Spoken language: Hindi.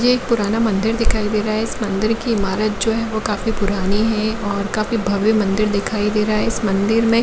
यह एक पुराना मंदिर दिखाई दे रहा है इस मंदिर की इमारत जो है काफी पुरानी है काफी पुरानी है काफी भव्य मंदिर दिखाई दे रहा है इस मंदिर में--